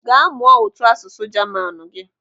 Gaa mụọ ụtọasụsụ Jamanu gị!